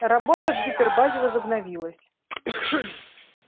работа в гипербазе возобновилась